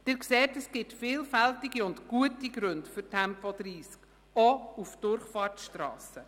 Sie sehen, dass es vielfältige und gute Gründe für Tempo 30 gibt, auch auf Durchfahrtsstrassen.